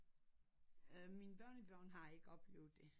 Mine børnebørn har ikke oplevet det